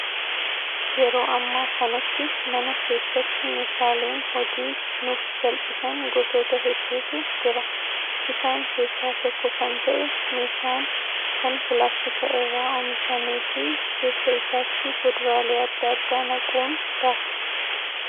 Yeroo ammaa kanatti mana keessatti meeshaaleen hojii nuuf salphisan gosoota hedduutu jira. Isaan keessaa tokko kan ta'e meeshaan kan pilaastika irraa oomishamee fi keessa isaatti fuduraalee adda addaa naquun daakna.